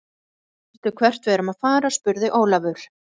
Veistu hvert við erum að fara, spurði Jón Ólafur.